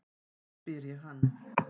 spyr ég hann.